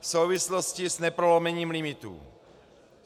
v souvislosti s neprolomením limitů.